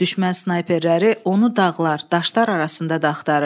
Düşmən snayperləri onu dağlar, daşlar arasında da axtarırdı.